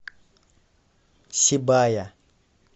сибая